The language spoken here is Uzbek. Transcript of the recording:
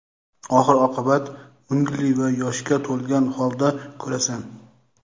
oxir-oqibat mungli va yoshga to‘lgan holda ko‘rasan.